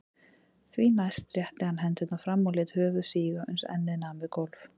Því næst rétti hann hendurnar fram og lét höfuð síga uns ennið nam við gólf.